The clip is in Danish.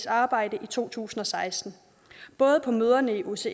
arbejde i to tusind og seksten både på møderne i osces